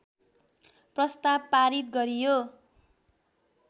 प्रस्ताव पारित गरियो